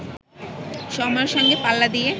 সময়ের সঙ্গে পাল্লা দিয়ে